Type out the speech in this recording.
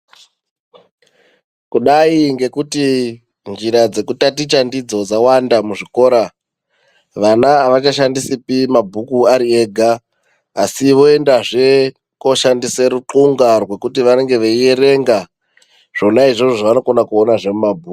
Kudai ngekuti njira dzekutaticha ndidzi dzawanda muzvikora vana avachashandisipi mabhuku ari ega asi viendazve koshandise ruxunga rwekuti vanenge veierenga zvona izvozvo zvavanokona kuona zvemumabhuku.